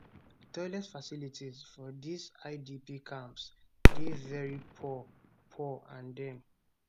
toilet facilities for dis idp camps dey very poor poor and dem